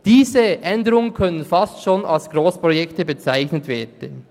Diese Änderungen können fast schon als Grossprojekte bezeichnet werden.